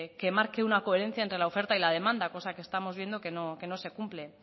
que marque una coherencia entre la oferta y la demanda cosa que estamos viendo que no que no se cumple